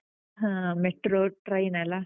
ಹ. Metro train ಲ್ಲ?